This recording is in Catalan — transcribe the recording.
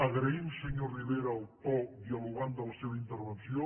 agraïm senyor rivera el to dialogant de la seva intervenció